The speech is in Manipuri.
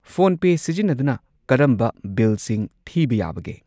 ꯐꯣꯟꯄꯦ ꯁꯤꯖꯤꯟꯅꯗꯨꯅ ꯀꯔꯝꯕ ꯕꯤꯜꯁꯤꯡ ꯊꯤꯕ ꯌꯥꯕꯒꯦ?